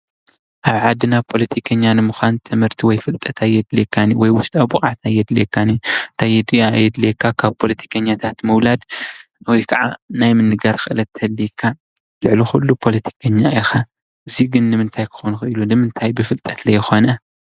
አብ ዓድና ፖለቲከኛ ንምኳን ትምህርቲ ወይ ፍልጠት አየድልየካን እዩ ወይ ውሽጣዊ ብቅዓት ኣየድልየካን፣ እንታይ የድልየካ ካብ ፖለቲከኛታት ምዉላድ ወይ ከዓ ናይ ምንጋር ክእለት ተልዪካ ልዕሊ ኩሉ ፖለቲከኛ ኢኻ እዚ ግን ንምንታይ ኮይኑ ንምንታይ ብፍልጠት ዝይኾነ?